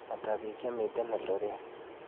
Ata biik chemiten eldoret